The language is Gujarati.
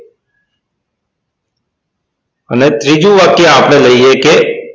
અને ત્રીજું વાક્ય આપણે લઈએ કે